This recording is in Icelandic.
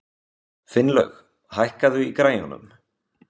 Finnlaug, hækkaðu í græjunum.